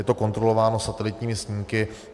Je to kontrolováno satelitními snímky.